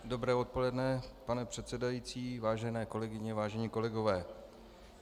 Dobré odpoledne, pane předsedající, vážené kolegyně, vážení kolegové.